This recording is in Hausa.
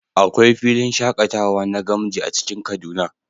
Akwai filin shakatawa na gamji a cikin kaduna